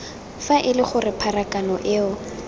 fa ele gore pharakano eo